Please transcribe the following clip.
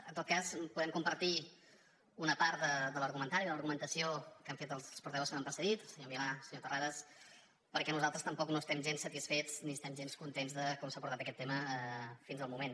en tot cas podem compartir una part de l’argumentari de l’argumentació que han fet els portaveus que m’han precedit el senyor milà el senyor terrades perquè nosaltres tampoc no estem gens satisfets ni estem gens contents de com s’ha portat aquest tema fins al moment